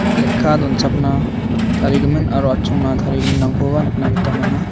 lekka donchakna tarigimin aro atchongna tarigiminrangkoba nikna gita man·a.